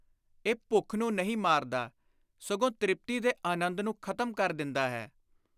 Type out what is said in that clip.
ਇਹ ਭੁੱਖ ਨੂੰ ਨਹੀਂ ਮਾਰਦਾ, ਸਗੋਂ ਤ੍ਰਿਪਤੀ ਦੇ ਆਨੰਦ ਨੂੰ ਖ਼ਤਮ ਕਰ ਦਿੰਦਾ ਹੈ।